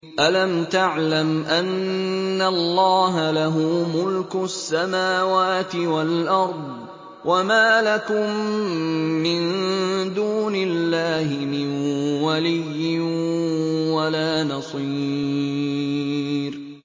أَلَمْ تَعْلَمْ أَنَّ اللَّهَ لَهُ مُلْكُ السَّمَاوَاتِ وَالْأَرْضِ ۗ وَمَا لَكُم مِّن دُونِ اللَّهِ مِن وَلِيٍّ وَلَا نَصِيرٍ